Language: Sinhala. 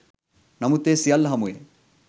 නමුත් ඒ සියල්ල හමුවේ